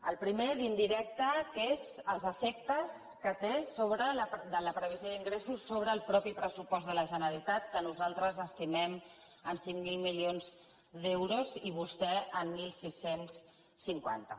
el primer indirecte és els efectes de la previsió d’ingressos sobre el mateix pressupost de la generalitat que nosaltres estimem en cinc mil milions d’euros i vostè en setze cinquanta